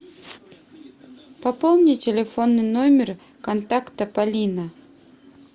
пополни телефонный номер контакта полина